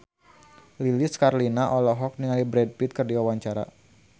Lilis Karlina olohok ningali Brad Pitt keur diwawancara